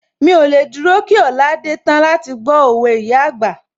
Mí ò lè dúró kí ọ̀la dé tán láti gbó òwe ìyá àgbà